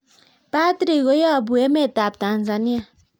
Patrick ko yapu emet ab Tanzania